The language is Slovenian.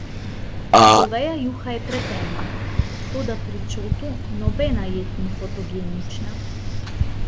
Goveja juha je pretemna, toda pri Čotu nobena jed ni fotogenična.